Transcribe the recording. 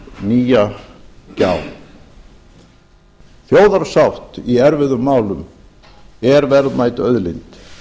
nýja gjá þjóðarsátt í erfiðum málum er verðmæt auðlind